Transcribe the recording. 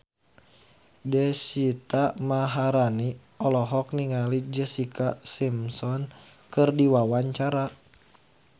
Deswita Maharani olohok ningali Jessica Simpson keur diwawancara